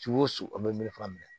Su o su o bɛ melefa